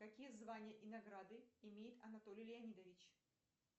какие звания и награды имеет анатолий леонидович